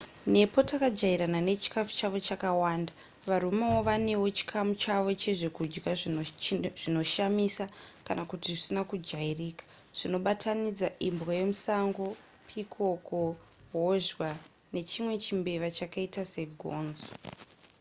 nepo takajairana nechikafu chavo chakawanda varoma vanewo chikamu chavo chezvekudya zvinoshamisa kana kuti zvisina kujairika zvinobatanidza imbwa yemusango pikoko hozhwa nechimwe chimbeva chakaita segonzo